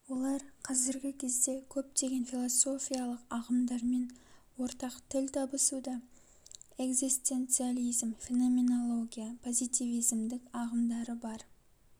олар казіргі кезде көптеген философиялық ағымдармен ортақ тіл табысуда экзистенциализм феноменология позитивизмдік ағымдары бар